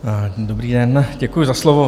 Dobrý den, děkuji za slovo.